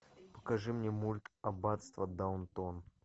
покажи мне мульт аббатство даунтон